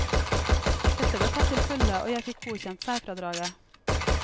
Dette ble tatt til følge og jeg fikk godkjent særfradraget.